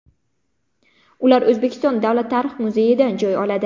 Ular O‘zbekiston Davlat tarix muzeyidan joy oladi.